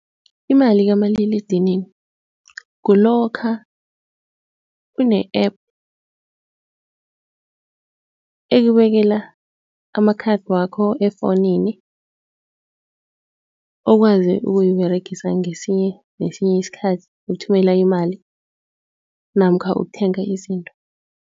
Imali kamaliledinini kulokha une-app, ekubekela ama-card wakho efonini. Okwazi ukuyiberegisa ngesinye nesinye isikhathi ukuthumela imali namkha ukuthenga izinto.